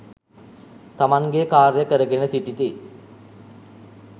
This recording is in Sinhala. තමන්ගේ කාර්ය කරගෙන සිටිති.